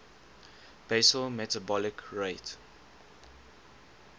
basal metabolic rate